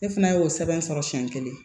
Ne fana y'o sɛbɛn sɔrɔ siɲɛ kelen